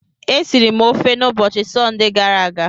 E siri m ofe n'ubochi Sọnde gara aga.